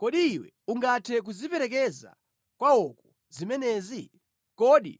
Kodi iwe ungathe kuziperekeza kwawoko zimenezi? Kodi